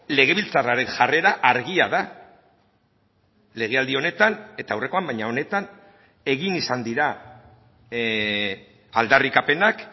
legebiltzarraren jarrera argia da legealdi honetan eta aurrekoan baina honetan egin izan dira aldarrikapenak